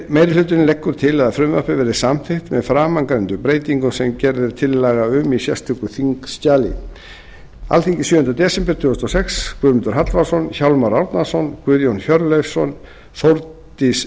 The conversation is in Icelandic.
meiri hlutinn leggur til að frumvarpið verði samþykkt með framangreindum breytingum sem gerð er tillaga um í sérstöku þingskjali alþingi sjöunda des tvö þúsund og sex guðmundur hallvarðsson hjálmar árnason guðjón hjörleifsson þórdís